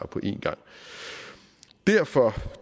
på en gang derfor